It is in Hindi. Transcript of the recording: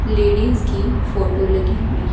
लेडीज की फोटो लगी हुई--